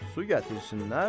Su gətirsinlər,